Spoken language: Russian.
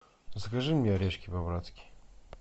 закажи мне орешки по братски